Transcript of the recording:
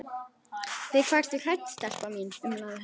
Við hvað ertu hrædd, stelpa mín? umlaði hann.